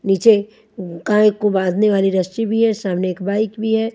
नीचे गाय को बांधने वाली रस्सी भी है सामने एक बाइक भी है।